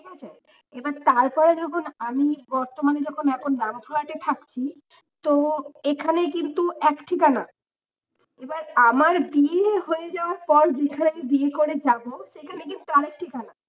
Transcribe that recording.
এবার তারপর যখন আমি বর্তমানে যখন আমি ডাঙসূয়াতে থাকছি তো এখানে কিন্তু এক ঠিকানা এবার আমার বিয়ে হয়ে যাওয়ার পর যেখানে বিয়ে করে যাব সেখানে কিন্তু আরেক ঠিকানা।